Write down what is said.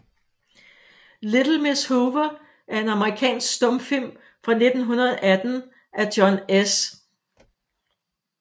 Little Miss Hoover er en amerikansk stumfilm fra 1918 af John S